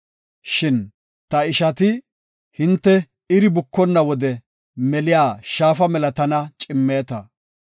Shin ta ishati hinte iri bukonna wode meliya shaafa mela tana cimmeeta.